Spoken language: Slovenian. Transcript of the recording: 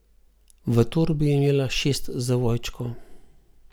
V torbi je imela šest zavojčkov.